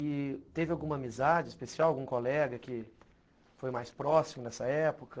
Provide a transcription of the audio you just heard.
E teve alguma amizade especial, algum colega que foi mais próximo nessa época?